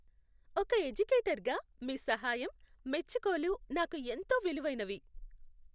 ఒక ఎడ్యుకేటర్గా మీ సహాయం, మెచ్చుకోలు నాకు ఎంతో విలువైనవి.